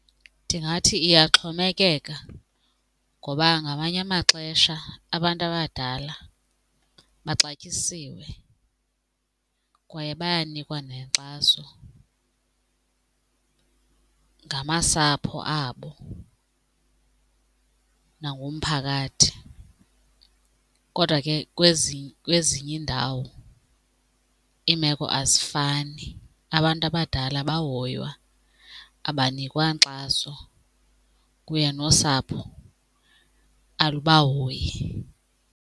Ndingathi iyaxhomekeka ngoba ngamanye amaxesha abantu abadala baxatyisiwe kwaye bayanikwa nenkxaso ngamasapho abo nangumphakathi, kodwa ke kwezinye iindawo iimeko azifani abantu abadala abahoywa abanikwa nkxaso kunye nosapho alubahoyi.